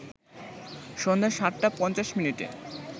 সন্ধ্যা ৭ টা ৫০ মিনিটে